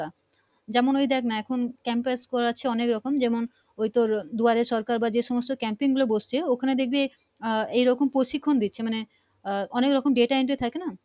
যেমন ওই দেখ না এখুন Campus করেছে অনেক রকম যেমন ওই তোর দুয়ারে সরকার বা যে সমস্ত Camipng গুলো বসছে ওখানে দেখবি আ এরকম প্রশিক্ষণ দিচ্ছে মানে অনেক রকম data entry থাকে না